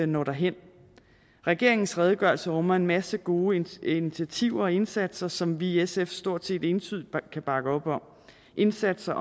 når derhen regeringens redegørelse rummer en masse gode initiativer og indsatser som vi i sf stort set entydigt kan bakke op om indsatser